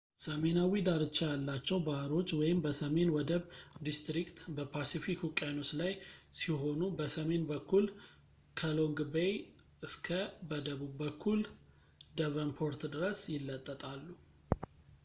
ሰሜናዊ ዳርቻ ያላቸው ባህሮች በሰሜን ወደብ ዲስትሪክት በፓስፊክ ውቅያኖስ ላይ ሲሆኑ በሰሜን በኩል ከሎንግ ቤይ እስከ በደቡብ በኩል ደቨንፖርት ድረስ ይለጠጣሉ